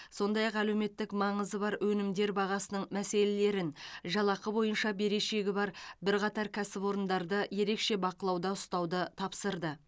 сондай ақ әлеуметтік маңызы бар өнімдер бағасының мәселелерін жалақы бойынша берешегі бар бірқатар кәсіпорындарды ерекше бақылауда ұстауды тапсырды